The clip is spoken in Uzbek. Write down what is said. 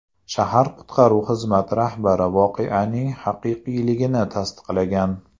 Shahar qutqaruv xizmati rahbari voqeaning haqiqiyligini tasdiqlagan.